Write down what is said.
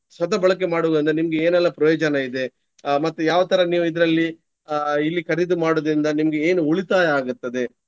ಸದಬಳಕೆ ಮಾಡುವುದಂದ್ರೆ ನಿಮ್ಗೆ ಏನೆಲ್ಲಾ ಪ್ರಯೋಜನ ಇದೆ. ಅಹ್ ಮತ್ತೆ ಯಾವ ತರ ನೀವು ಇದ್ರಲ್ಲಿ ಅಹ್ ಇಲ್ಲಿ ಖರೀದಿ ಮಾಡುವುದ್ರಿಂದ ನಿಮ್ಗೆ ಏನು ಉಳಿತಾಯ ಆಗ್ತದೆ.